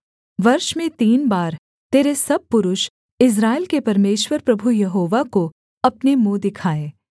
वर्ष में तीन बार तेरे सब पुरुष इस्राएल के परमेश्वर प्रभु यहोवा को अपने मुँह दिखाएँ